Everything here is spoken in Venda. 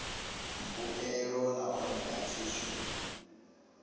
mbuelo nahone a tshi zwi